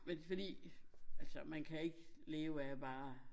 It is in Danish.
Men fordi altså man kan ikke leve at bare